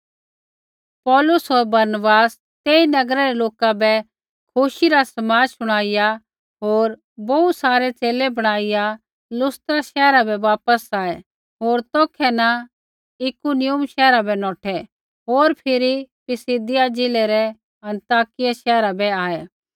पौलुस होर बरनबास तेई नगरै रै लोका बै खुशी रा समाद शुणाइया होर बोहू सारै च़ेले बणाईया लुस्त्रा शैहरा बै वापस आऐ होर तौखै न इकुनियुम शैहरा बै नौठै होर फिरी पिसिदिया ज़िलै रै अन्ताकिया शैहरा बै वापस आऐ